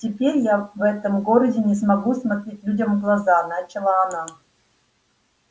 теперь я в этом городе не смогу смотреть людям в глаза начала она